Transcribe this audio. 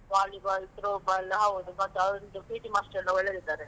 Volley ball, throw ball ಹೌದು, ಮತ್ತೆ ಅವರೊಂದು PT master ಎಲ್ಲ ಒಳ್ಳೆದಿದ್ದಾರೆ.